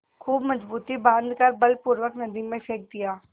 खूब मजबूत बॉँध कर बलपूर्वक नदी में फेंक दिया